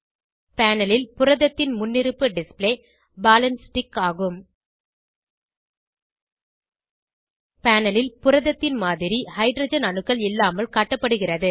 panel ல் புரதத்தின் முன்னிருப்பு டிஸ்ப்ளே பால் ஆண்ட் ஸ்டிக் ஆகும் பேனல் ல் புரத்தின் மாதிரி ஹைட்ரஜன் அணுக்கள் இல்லாமல் காட்டப்படுகிறது